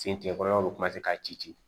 Fin tigɛ kɔrɔlaw k'a ci ci